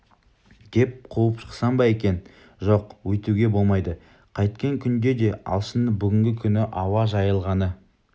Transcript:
деп қуып шықсам ба екен жоқ өйтуге болмайды қайткен күнде де алшынның бүгінгі күні ауа жайылғаны